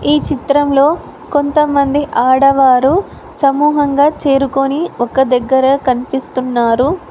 ఈ చిత్రంలో కొంతమంది ఆడవారు సమూహంగా చేరుకొని ఒక దగ్గర కనిపిస్తున్నారు.